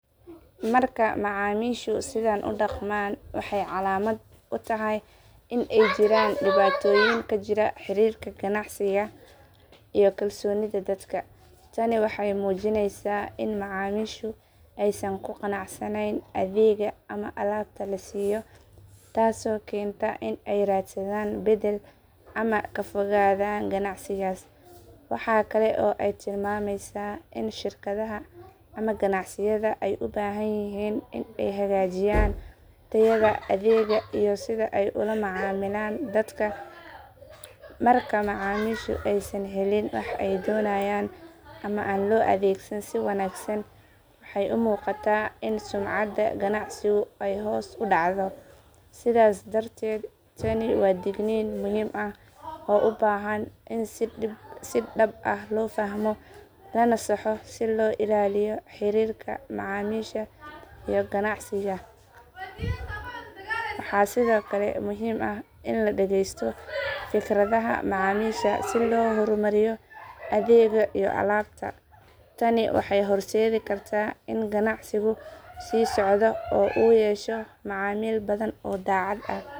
Marka macaamiishu sidan u dhaqmaan waxay calaamad u tahay in ay jiraan dhibaatooyin ka jira xiriirka ganacsiga iyo kalsoonida dadka. Tani waxay muujineysaa in macaamiishu aysan ku qanacsaneyn adeegga ama alaabta la siiyo, taasoo keenta in ay raadsadaan beddel ama ka fogaadaan ganacsigaas. Waxa kale oo ay tilmaamaysaa in shirkadaha ama ganacsiyada ay u baahan yihiin in ay hagaajiyaan tayada, adeegga iyo sida ay ula macaamilaan dadka. Marka macaamiishu aysan helin waxa ay doonayaan ama aan loo adeegsan si wanaagsan, waxay u muuqataa in sumcadda ganacsigu ay hoos u dhacdo. Sidaas darteed, tani waa digniin muhiim ah oo u baahan in si dhab ah loo fahmo lana saxo si loo ilaaliyo xiriirka macaamiisha iyo ganacsiga. Waxaa sidoo kale muhiim ah in la dhageysto fikradaha macaamiisha si loo horumariyo adeegga iyo alaabta. Tani waxay horseedi kartaa in ganacsigu sii socdo oo uu yeesho macaamiil badan oo daacad ah.